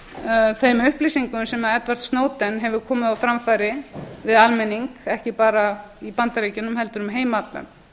í þeim upplýsingum sem edward snowden hefur komið á framfæri við almenning ekki bara í bandaríkjunum heldur um heim allan